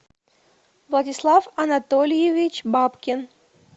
владислав анатольевич бабкин